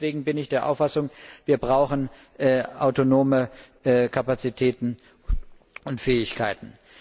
Deswegen bin ich der Auffassung, wir brauchen autonome Kapazitäten und Fähigkeiten.